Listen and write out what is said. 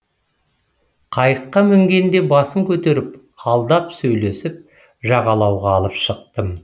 қайыққа мінгенде басын көтеріп алдап сөйлесіп жағалауға алып шықтым